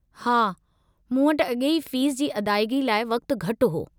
हा, मूं वटि अॻेई फ़ीस जी अदायगी लाइ वक़्तु घटि हो।